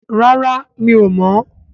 Rárá mi ò mọ́